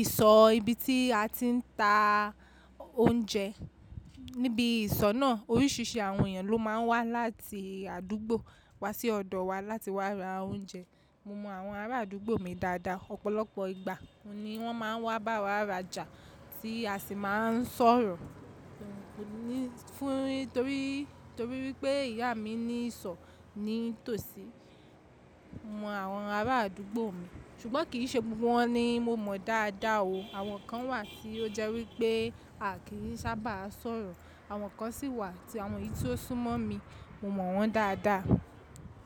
ìsọ̀ ibi tí a ti ń ta oúnjẹ. Níbi ìsọ̀ náà oríṣìíríṣìí àwọn èèyàn ló máa ń wá láti àdúgbò wá sí ọ̀dọ̀ wa láti wá ra oúnjẹ. Mo mọ àwọn ará àdúgbò mi dáadáa, ọ̀pọ̀lọpọ̀ ìgbà ni wọ́n máa ń wá bá wa rajà tí a sì máa ń sọ̀rọ̀. Fún torí, torí wípé ìyá mi ní ìsọ̀ ní tòsí, mo mọ àwọn ará àdúgbò mi, ṣùgbọ́n kì í ṣe gbogbo wọ́n ni mo mọ dáadáa o. Àwọn kan wà tí ó jẹ́ wípé a kì í sábà sọ̀rọ̀, àwọn kan sì wà tí àwọn yìí tí ó sún mọ́ mi, mo mọ wọ́n dáadáa.